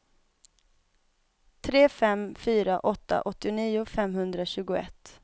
tre fem fyra åtta åttionio femhundratjugoett